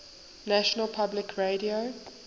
national public radio